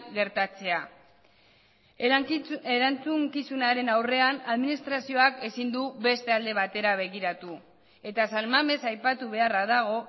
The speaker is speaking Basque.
gertatzea erantzukizunaren aurrean administrazioak ezin du beste alde batera begiratu eta san mamés aipatu beharra dago